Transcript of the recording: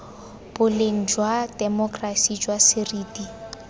boleng jwa temokerasi jwa seriti